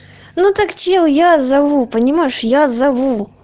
ну так что я зову понимаешь я зову